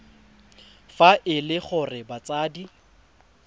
fa e le gore batsadi